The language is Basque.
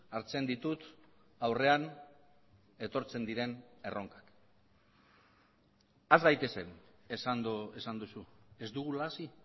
hartzen ditut aurrean etortzen diren erronkak has gaitezen esan duzu ez dugula hasi